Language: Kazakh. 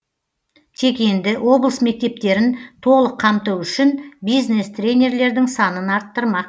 тек енді облыс мектептерін толық қамту үшін бизнес тренерлердің санын арттырмақ